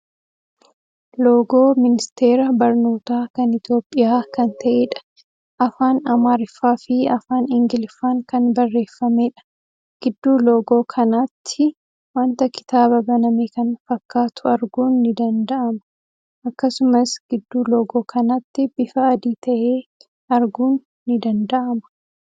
Loogoo ministeera barnootaa kan Itiyoophiyyaa kan ta'eedha. Afaan Amaariffaa fii afaan Ingiliffaan kan barreeffameedha. Gidduu loogoo kanaattii wanta kitaaba baname kan fakkaatu arguun ni dandaama. Akkasumas gidduu loogoo kanaatti bifa adii ta'e arguun ni danda'ama.